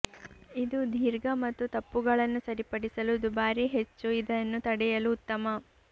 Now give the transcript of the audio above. ಇದು ದೀರ್ಘ ಮತ್ತು ತಪ್ಪುಗಳನ್ನು ಸರಿಪಡಿಸಲು ದುಬಾರಿ ಹೆಚ್ಚು ಇದನ್ನು ತಡೆಯಲು ಉತ್ತಮ